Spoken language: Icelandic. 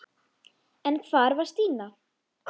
En hvar var Stína?